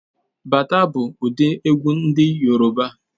Bata bụ ụdị egwu ndị Yoruba